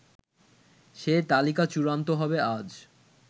সে তালিকা চূড়ান্ত হবে আজ